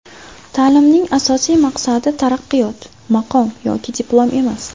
Ta’limning asosiy maqsadi taraqqiyot, maqom yoki diplom emas.